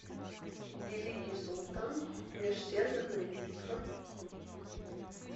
великий султан межсерверная битва